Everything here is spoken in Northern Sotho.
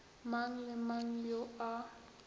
mang le mang yo a